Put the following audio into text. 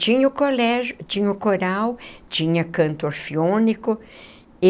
Tinha o colégio, tinha o coral, tinha canto orfeônico.